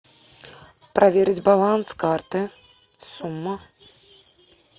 проверить баланс карты сумма